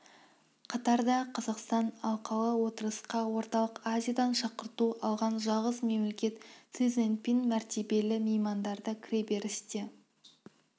қатарда қазақстан алқалы отырысқа орталық азиядан шақырту алған жалғыз мемлекет си цзиньпин мәртебелі меймандарды кіреберісте